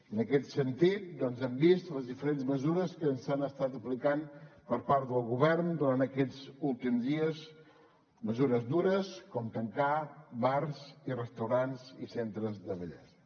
en aquest sentit doncs hem vist les diferents mesures que s’han estat aplicant per part del govern durant aquests últims dies mesures dures com tancar bars i restaurants i centres de bellesa